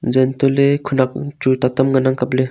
jan tohle khanak bu chu ta tam ngan ang kaple.